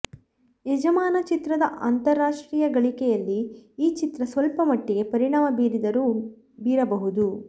ಯಜಮಾನ ಚಿತ್ರದ ಅಂತರಾಷ್ಟ್ರೀಯ ಗಳಿಕೆಯಲ್ಲಿ ಈ ಚಿತ್ರ ಸ್ವಲ್ಪ ಮಟ್ಟಿಗೆ ಪರಿಣಾಮ ಬೀರಿದರೂ ಬೀರಬಹುದು